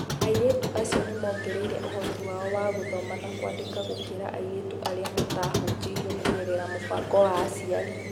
Airĩtu acio nĩ moongereire ũhoti wao wa gũthoma na kwandĩka gũkĩra airĩtu arĩa mataahunjirio kũgerera mũbango wa aciari.